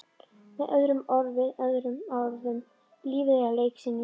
Með öðrum orðum- lífið er leiksýning.